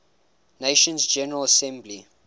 nations general assembly